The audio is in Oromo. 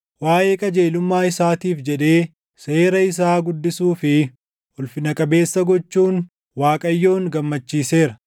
Waaʼee qajeelummaa isaatiif jedhee seera isaa guddisuu fi ulfina qabeessa gochuun Waaqayyoon gammachiiseera.